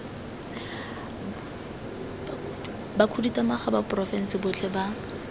bakhuduthamaga ba porofense botlhe ba